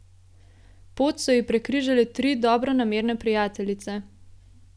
Pot so ji prekrižale tri dobronamerne prijateljice.